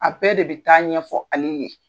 A bɛɛ de bɛ taa ɲɛfɔ ale ye.